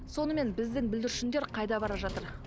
сонымен біздің бүлдіршіндер қайда бара жатыр